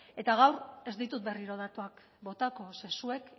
eta gaur ez ditut berriro datuak botako ze zuek